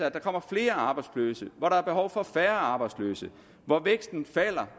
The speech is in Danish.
at der kommer flere arbejdsløse når der er behov for færre arbejdsløse at væksten falder